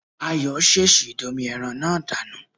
Ayọ̀ ṣèṣì domi ẹran náà dànù